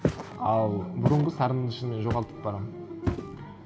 ал бұрынғы сарынымды шынымен жоғалтып барамын